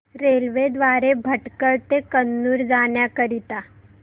railway द्वारे भटकळ ते कन्नूर जाण्या करीता